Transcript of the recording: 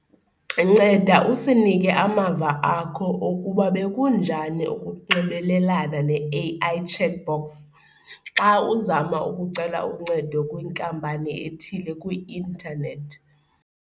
Nceda usinike amava akho okuba bekunjani ukunxibelelana ne-A_I chatbot xa uzama ukucela uncedo kwinkampani ethile kwi-intanethi.